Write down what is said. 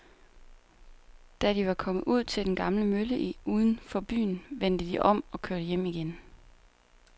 Da de var kommet ud til den gamle mølle uden for byen, vendte de om og kørte hjem igen.